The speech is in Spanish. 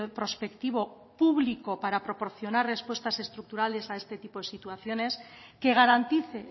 prospectivo público para proporcionar respuestas estructurales a este tipo de situaciones que garantice